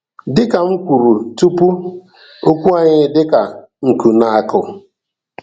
Dị ka m kwuru tupu, okwu anyị dị ka nkụ na-akụ.